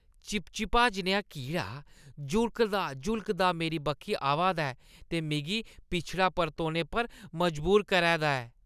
चिपचिपा जनेहा कीड़ा जुलकदा-जुलकदा मेरे बक्खी आवा दा ऐ ते मिगी पिछड़ा परतोने पर मजबूर करै दा ऐ ।